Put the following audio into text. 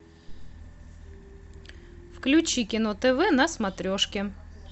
включи кино тв на смотрешке